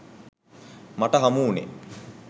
මට හමුවුණේ